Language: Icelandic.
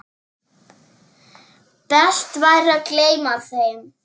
Best væri að gleyma þeim.